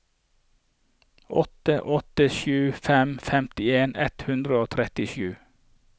åtte åtte sju fem femtien ett hundre og trettisju